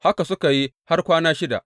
Haka suka yi har kwana shida.